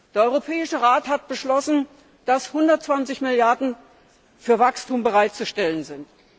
Der Europäische Rat hat beschlossen, dass 120 Milliarden für Wachstum bereitzustellen sind.